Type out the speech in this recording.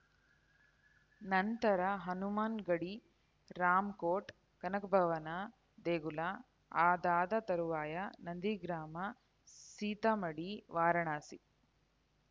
ನಂತರ ಹನುಮಾನ್‌ ಗಡಿ ರಾಮಕೋಟ್‌ ಕನಕಭವನ ದೇಗುಲ ಅದಾದ ತರುವಾಯ ನಂದಿಗ್ರಾಮ ಸೀತಾಮಡಿ ವಾರಾಣಸಿ